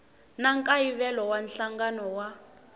na nkayivelo wa nhlangano wa